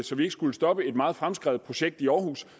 så vi ikke skulle stoppe et meget fremskredent projekt i aarhus